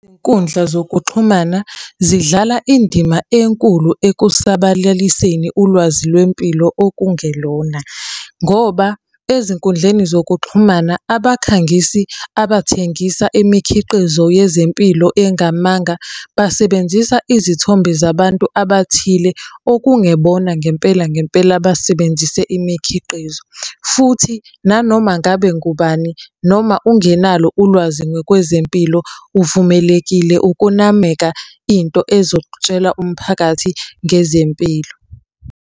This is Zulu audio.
Izinkundla zokuxhumana zidlala indima enkulu ekusabalaliseni ulwazi lwempilo okungelona. Ngoba ezinkundleni zokuxhumana abakhangisizi abathengisa imikhiqizo yezempilo engamanga, basebenzisa izithombe zabantu abathile okungebona ngempela ngempela abasebenzise imikhiqizo. Futhi nanoma ngabe ngubani, noma ungenalo ulwazi ngokwezempilo uvumelekile ukunameka into ezokutshela umphakathi ngezempilo.